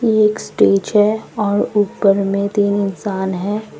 ये एक स्टेज है और ऊपर में तीन इंसान है।